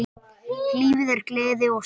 Lífið er gleði og sorg.